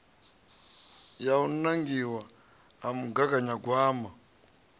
ya u nangiwa ha mugaganyagwama